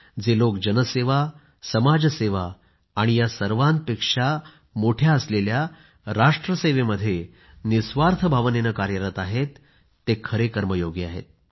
जे लोक जनसेवा समाजसेवा आणि या सर्वांपेक्षा मोठ्या असलेल्या राष्ट्रसेवेमध्ये निःस्वार्थ भावनेने कार्यरत आहेत ते कर्मयोगी आहेत